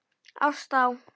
Ást á